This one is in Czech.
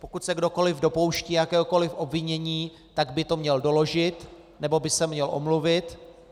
Pokud se kdokoliv dopouští jakéhokoliv obvinění, tak by to měl doložit, nebo by se měl omluvit.